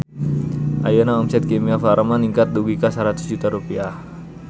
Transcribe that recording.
Ayeuna omset Kimia Farma ningkat dugi ka 100 juta rupiah